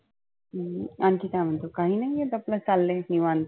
हम्म आनखी काय म्हणतो? काही नाही आहे कि आपल चाललय निवांत.